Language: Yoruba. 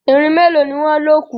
Irin meloni wón lọ kù.